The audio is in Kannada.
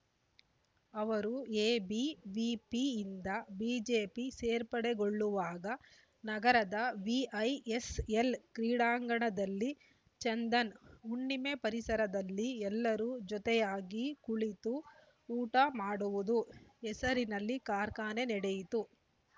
ಅವರು ಎಬಿವಿಪಿಯಿಂದ ಬಿಜೆಪಿ ಸೇರ್ಪಡೆಗೊಳ್ಳುವಾಗ ನಗರದ ವಿಐಎಸ್‌ಎಲ್‌ ಕ್ರೀಡಾಂಗಣದಲ್ಲಿ ಚಂದನ್‌ಹುಣ್ಣಿಮೆ ಪರಿಸರದಲ್ಲಿ ಎಲ್ಲರೂ ಜೊತೆಯಾಗಿ ಕುಳಿತು ಊಟ ಮಾಡುವುದು ಹೆಸರಿನಲ್ಲಿ ಕಾರ್ಖಾನೆ ನಡೆಯಿತು